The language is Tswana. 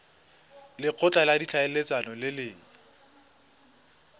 lekgotla la ditlhaeletsano le le